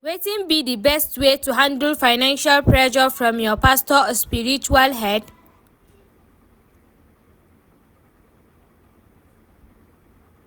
Wetin be di best way to handle financial pressure from your pastor or spiritual head?